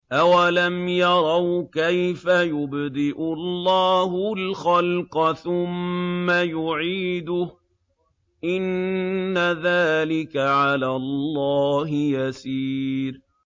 أَوَلَمْ يَرَوْا كَيْفَ يُبْدِئُ اللَّهُ الْخَلْقَ ثُمَّ يُعِيدُهُ ۚ إِنَّ ذَٰلِكَ عَلَى اللَّهِ يَسِيرٌ